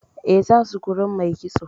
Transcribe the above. Eh, za su wurin mai kitso.